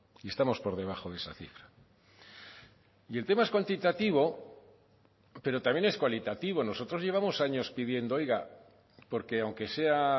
y estamos por debajo de esa cifra y el tema es cuantitativo pero también es cualitativo nosotros llevamos años pidiendo oiga porque aunque sea